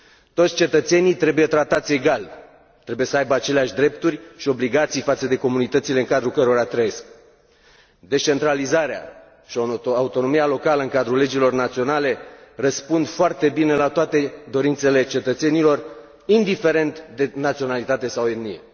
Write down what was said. Toți cetățenii trebuie tratați egal, trebuie să aibă aceleași drepturi și obligații față de comunitățile în cadrul cărora trăiesc. Descentralizarea și autonomia locală în cadrul legilor naționale răspund foarte bine la toate dorințele cetățenilor, indiferent de naționalitate sau etnie.